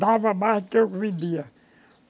Dava mais do que vendia.